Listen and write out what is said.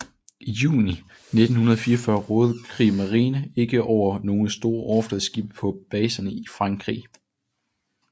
I juni 1944 rådede Kriegsmarine ikke over nogle store overfladeskibe på baserne i Frankrig